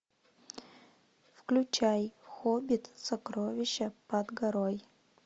включай хоббит сокровища под горой